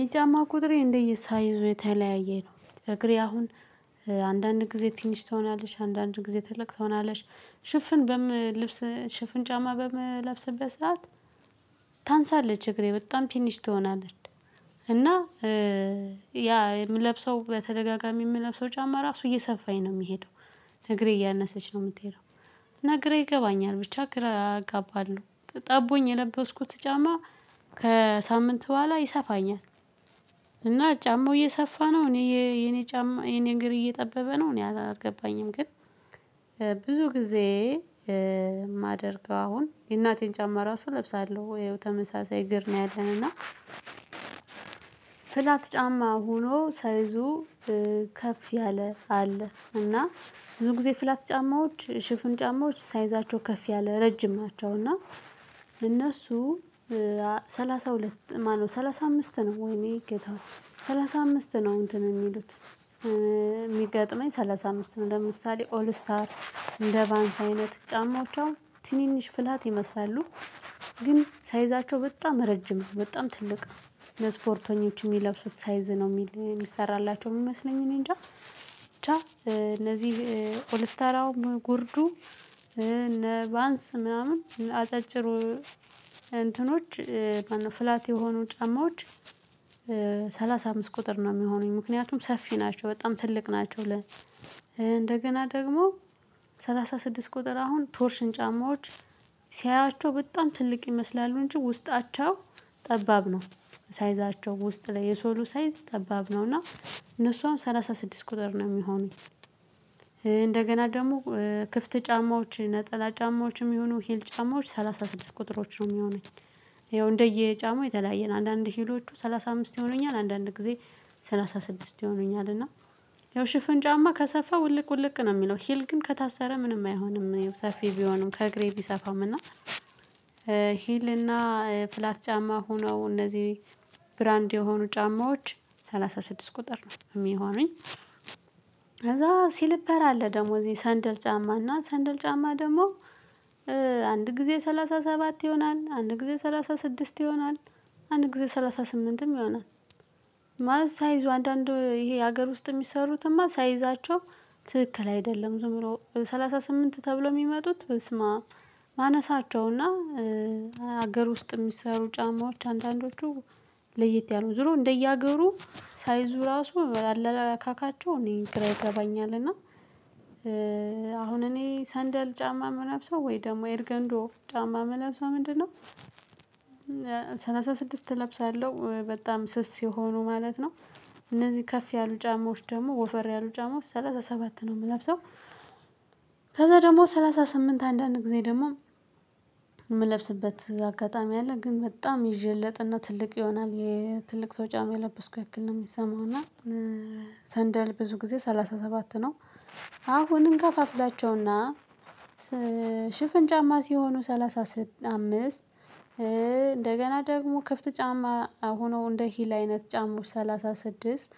የጫማ ቁጥሬ እንደየሳይዙ የተለያየ ነው እግሬ አሁን አንዳንድ ጊዜ ትንሽ ትሆናለች አንዳንድ ጊዜ ትልቅ ትሆናለች። ሽፍን በምልብስ ሽፍን ጫማ በምለብስበት ታንሳለች እግሬ በጣም ትኒሽ ትሆናለች። እና ያ የምለብሰው በተደጋጋሚ የምለብሰው ጫማ ራሱ እየሰፋኝ ነው የሚሄደው። እግሬ እያነሰች ነው የምትሄደው። እና ግራ ይገባኛል ብቻ ግራ አጋባለሁ። ጠቦኝ የለበስኩት ጫማ ከሳምንት በኋላ ይሰፋኛል። እና ጫማው እየሰፋ ነው እኔ የኔ ጫማ የኔ እግር እየጠበበ ነው እኔ አላልገባኝም ግን። ብዙ ጊዜ የማደርገው አሁን የእናቴን ጫማ ራሱ እለብሳለው ተመሳሳይ እግር ነው። ያለን እና ፍላት ጫማ ሆኖ ሳይዙ። ከፍ ያለ ካለ እና ብዙ ጊዜ ፍላት ጫማዎች ሽፍን ጫማዎች ሳይዛቸው ከፍ ያለ ረጅም ናቸውና። እና እነሱ ሰላሳሁለት ማነው ሰላሳአምስት ነው ወይኔ ጌታሆይ ሰላሳአምስት ነው እንትን የሚሉት። የሚገጥመኝ ሰላሳአምስት ነው ለምሳሌ ኦል ስታር እንደ ቫንስ አይነት ጫማዎቻው ትንንሽ ፍላት ይመስላሉ። ግን ሳይዛቸው በጣም ረጅም ነው በጣም ትልቅ። ለስፖርተኞች የሚለብሱት ሳይዝ ነው የሚል የሚሰራላቸው የሚመስለኝ እኔ እንጃ ብቻ። እነዚህ ኦልስታር አሁን ጉርዱ እነ ቫንስ ምናምን አጫጭሩ እንትኖች ፍላት የሆኑ ጫማዎች። ሰላሳአምስት ቁጥር ነው የሚሆነኝ ምክንያቱም ሰፊ ናቸው በጣም ትልቅ ናቸው። ለ እንደገና ደግሞ ሰላሳስድስት ቁጥር አሁን ቶርሽን ጫማዎች ሲያያቸው በጣም ትልቅ ይመስላሉ እንጂ ውስጣቸው ጠባብ ነው። ሳይዛቸው ውስጥ ላይ የሶሉ ሳይዝ ጠባብ ነው እና እነሱም አሁን ሰላሳስድስት ቁጥር ነው የሚሆነኝ። እንደገና ደግሞ ክፍት ጫማዎች ነጠላ ጫማዎችም ይሁኑ ሂል ጫማዎች ሰላሳስድስት ቁጥሮች ነው የሚሆነኝ። ይኸው እንደየጫማው የተለያየን አንዳንድ ሂሎቹ ሰልሳአምስት ይሆኑኛል አንዳንድ ጊዜ። ሰላሳስድስት ይሆኑኛል እና ሽፍን ጫማ ከሰፋ ውልቅ ውልቅ ነው የሚለው ሂል ግን ከታሰረ ምንም አይሆንም። ሰፊ ቢሆንም ከእግሬ ቢሰፋም እና ሂል እና ፍላት ጫማ ሆኖው እነዚህ ብራንድ የሆኑ ጫማዎች ሰላሳስድስት ቁጥር ነው የሚሆነኝ። ከዛ ሲልፐር አለ ደግሞ እዚህ ሰንደል ጫማ እና ሰንደል ጫማ ደግሞ። አንድ ጊዜ ሰላሳሰባት ይሆናል አንድ ጊዜ ሰላሳስድስት ይሆናል አንድ ጊዜ ሰላሳ ስምንትም ይሆናል። ማለት ሳይዙ አንዳንዱ ይሄ ሀገር ውስጥ የሚሰሩትማ ሳይዛቸው ትክክል አይደለም። ዝም ብሎ ስምንት ተብሎ የሚመጡት በስማአም ማነሳቸው እና ሀገር ውስጥ የሚሰሩ ጫማዎች አንዳንዶቹ ለየት ያሉ ዝሮ እንደየአገሩ ሳይዙ ራሱ አለላካካቸው እኔ ግራ ይገባኛል እና አሁን እኔ ሰንደል ጫማ የምለብሰው ወይ ደግሞ ኤርገንዶ ጫማ የምለብሰው ምንድነው? ሰላሳስድስት እለብሳለሁ በጣም ስስ የሆኑ ማለት ነው። እነዚህ ከፍ ያሉ ጫማዎች ደግሞ ወፈር ያሉ ጫማዎች ሰላሳሰባት ነው የምለብሰው። ከዛ ደግሞ ሰላሳስምንት አንዳንድ ጊዜ ደግሞ የምለብስበት አጋጣሚ አለ ግን በጣም ይዠለጥና ትልቅ ይሆናል የትልቅ ሰው ጫማ የለበስኩ ያክል ነው የሚሰማው እና። ሰንደል ብዙ ጊዜ ሰላሳሰባት ነው። አሁን እንከፋፍላቸው እና ሽፍን ጫማ ሲሆኑ ሰላሳ አምስት እንደገና ደግሞ ክፍት ጫማ ሆኖ እንደ ሂል አይነት ጫማዎች ሰላሳስድስት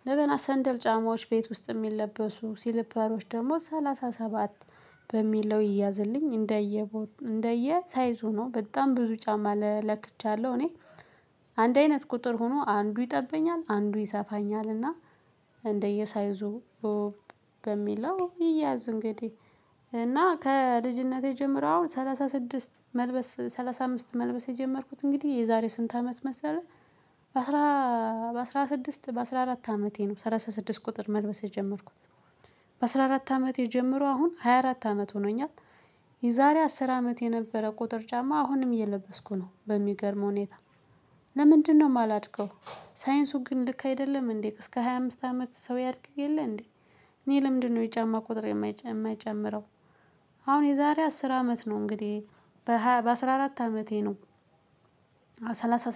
እንደገና ሰንደል ጫማዎች ቤት ውስጥ የሚለበሱ ሲሊፐሮች ደግሞ ሰላሳሰባት በሚለው ይያዝልኝ። እንደየ ሳይዙ ነው በጣም ብዙ ጫማ ለክቻለሁ እኔ አንድ አይነት ቁጥር ሆኖ አንዱ ይጠብኛል አንዱ ይሰፋኛል እና እንደየሳይዙ። በሚለው ይያዝ እንግዲህ እና ከልጅነቴ ጀምሮ አሁን ሰላሳስድስት መልበስ ሰላሳአምስት መልበስ የጀመርኩት እንግዲህ የዛሬ ስንት አመት መሰለህ? በአስራ ስድስት በአስራ አራት አመቴ ነው ሰላሳ ስድስት ቁጥር መልበስ የጀመርኩት። በአስራ አራት አመት ጀምሮ አሁን ሃያራት አመት ሆኖኛል። የዛሬ አስር አመት የነበረ ቁጥር ጫማ አሁንም እየለበስኩ ነው በሚገርም ሁኔታ። ለምንድነው የማላድገው? ሳይንሱ ግን ልክ አይደለም እንዴ እስከ ሃያ አምስት አመት ሰው ያድግ የለ እንዴ? እኔ ለምንድነው የጫማ ቁጥር የማይጨምረው? አሁን የዛሬ አስር አመት ነው እንግዲህ በሃያ በአስራ አራት አመቴ ነው።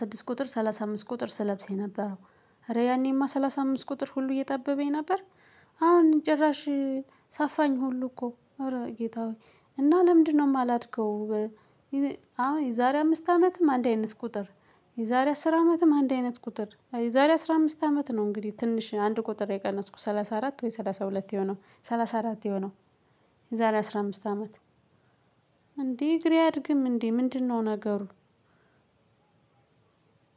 ስድስት ቁጥር ሰላሳ አምስት ቁጥር ስለብስ የነበረው እረ ያኔማ ሰላሳአምስት ቁጥር ሁሉ እየጠበበኝ ነበር። አሁን ጭራሽ ሰፋኝ ሁሉ እኮ እረ ጌታ ሆይ እና ለምንድነው የማላድገው? አሁን የዛሬ አምስት አመትም አንድ አይነት ቁጥር የዛሬ አስር አመትም አንድ አይነት ቁጥር የዛሬ አስራ አምስት አመት ነው እንግዲህ ትንሽ አንድ ቁጥር የቀነስኩ ሰላሳ አራት ወይ ሰላሳሁለት የሆነው ሰላሳአራት የሆነው። የዛሬ አስራ አምስት አመት? እንዴ እግሬ አድግም እንዴ ምንድነው ነገሩ?